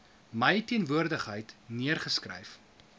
my teenwoordigheid neergeskryf